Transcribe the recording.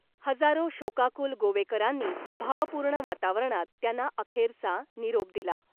हजारो शोकाकुल गोवेकरांनी भावपूर्ण वातावरणात त्यांना अखेरचा निरोप दिला .